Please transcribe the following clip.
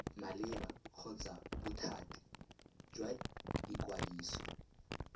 maleba kgotsa bothati jwa ikwadiso